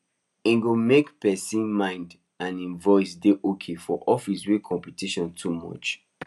e good make person mind and im voice dey okay for office wey competition too much